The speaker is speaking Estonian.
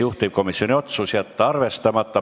Juhtivkomisjoni otsus: jätta arvestamata.